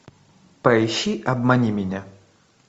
поищи обмани меня